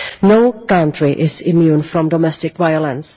No country is immune from domestic violence.